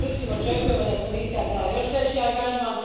Međutim, očekujemo da Komisija da još veći angažman.